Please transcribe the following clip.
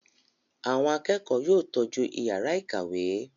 Àwọn akẹ́kọ̀ọ́ yóò tọ́jú ìyàrá-ìkàwé!